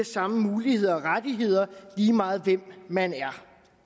samme muligheder og rettigheder lige meget hvem man er